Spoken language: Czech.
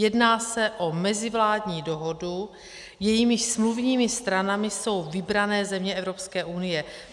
Jedná se o mezivládní dohodu, jejímiž smluvními stranami jsou vybrané země Evropské unie.